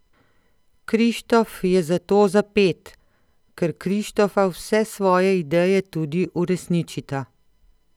Krištof je zato za pet, ker Krištofa vse svoje ideje tudi uresničita!